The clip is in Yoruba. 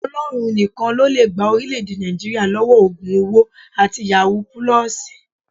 Ọlọ́run nìkan ló lè gba orílẹ̀ èdè Nàìjíríà lọ́wọ́ ògùn owó àti yàwúù pulọọsì